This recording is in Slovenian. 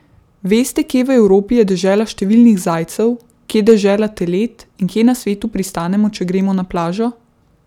Veste, kje v Evropi je dežela številnih zajcev, kje dežela telet in kje na svetu pristanemo, če gremo na plažo?